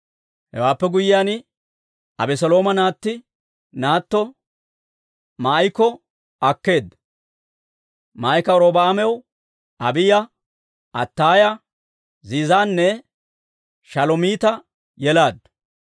Hewaappe guyyiyaan, Abeselooma naatti naatto Maa'iko akkeedda; Maa'ika Robi'aamaw Abiiya, Attaaya, Ziizanne Shalomiita yelaaddu.